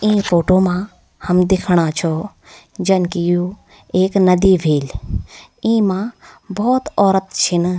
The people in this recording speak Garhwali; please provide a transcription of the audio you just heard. इ फोटु मा हम दिखणा छौ जन कि यू एक नदी ह्वेल इमा भौत औरत छिन।